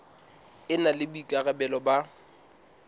e na le boikarabelo ba